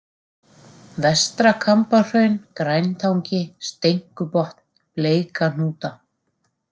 Vestra-Kambahraun, Græntangi, Steinkubotn, Bleikahnúta